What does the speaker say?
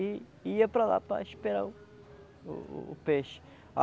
E ia para lá para esperar o o o peixe.